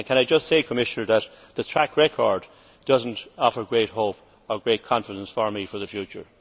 Can I just say, Commissioner, that the track record does not offer great hope or great confidence for me for the future.